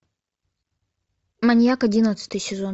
маньяк одиннадцатый сезон